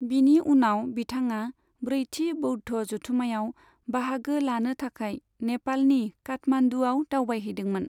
बिनि उनाव बिथाङा ब्रैथि बौद्ध जथुम्मायाव बाहागो लानो थाखाय नेपालनि काठमान्दुआव दावबायहैदोंमोन।